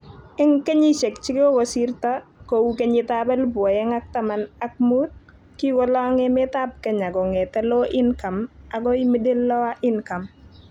Eng kenyisiek chekokosirto kou kenyitab elebu oeng ak taman ak muut kikolong emetab Kenya kong'ete low income agoi middle-lower income